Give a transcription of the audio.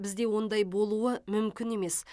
бізде ондай болуы мүмкін емес